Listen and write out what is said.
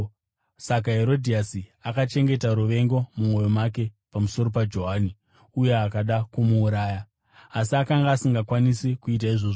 Saka Herodhiasi akachengeta ruvengo mumwoyo make pamusoro paJohani uye akada kumuuraya. Asi akanga asingakwanisi kuita izvozvo,